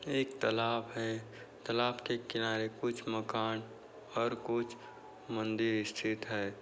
एक तलाब है। तलाब के किनारे कुछ मकान और कुछ मन्दिर स्थित है।